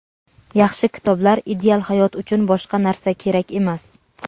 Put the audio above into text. yaxshi kitoblar - ideal hayot uchun boshqa narsa kerak emas!.